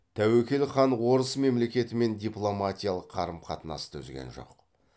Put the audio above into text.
тәуекел хан орыс мемлекетімен дипломатиялық қарым қатынасты үзген жоқ